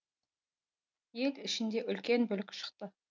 ел ішінде үлкен бүлік шықты